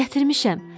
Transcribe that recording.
gətirmişəm.